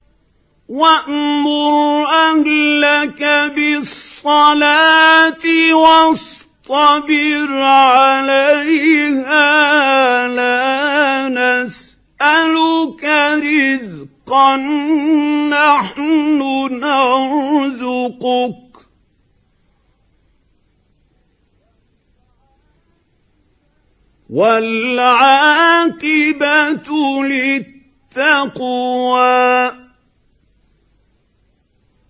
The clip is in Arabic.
وَأْمُرْ أَهْلَكَ بِالصَّلَاةِ وَاصْطَبِرْ عَلَيْهَا ۖ لَا نَسْأَلُكَ رِزْقًا ۖ نَّحْنُ نَرْزُقُكَ ۗ وَالْعَاقِبَةُ لِلتَّقْوَىٰ